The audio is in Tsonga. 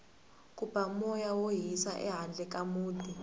ku ba moya wo hisa ehandle ka muti